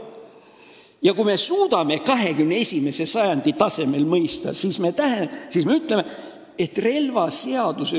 Ja kui me suudame seda 21. sajandi tasemel mõista, siis me ütleme, et relvaseaduse ...